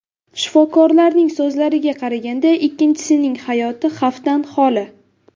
Shifokorlarning so‘zlariga qaraganda, ikkinchisining hayoti xavfdan holi.